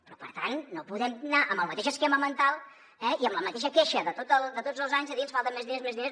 però per tant no podem anar amb el mateix esquema mental eh i amb la mateixa queixa de tots els anys de dir ens falten més diners més diners